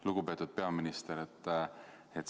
Lugupeetud peaminister!